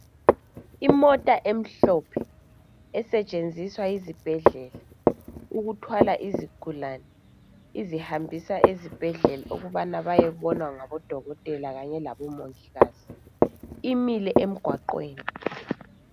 imota emhlophe esetshenziswa yizibhedlela ukuthwala izigulane izihambisa esibhedlela ukubane bayebonwa ngabo dokotela labomongikazi